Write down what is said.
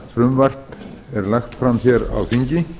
frumvarpið er lagt fram hér á þingi